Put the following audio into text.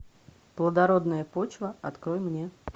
плодородная почва открой мне